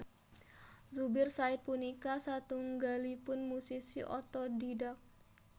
Zubir Said punika satunggalipun musisi otodhidhak